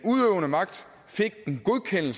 kan vi